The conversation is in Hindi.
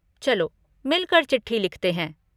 चलो मिलकर चिट्ठी लिखते हैं।